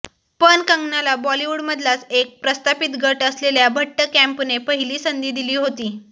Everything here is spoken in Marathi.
पण कंगनाला बॉलीवूडमधलाच एक प्रस्थापित गट असलेल्या भट्ट कँपने पहिली संधी दिली होती